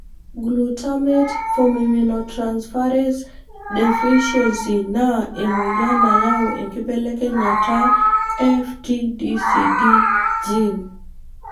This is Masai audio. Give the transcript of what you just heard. Glutamate formiminotransferase deficiency na emoyian nayau enkibelekenyata FTCD gene.